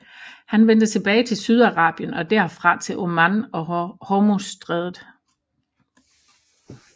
Han vendte tilbage til Sydarabien og derfra til Oman og Hormuzstrædet